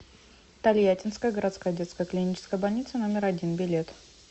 тольяттинская городская детская клиническая больница номер один билет